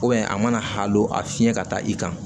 a mana hal'a fiyɛ ka taa i kan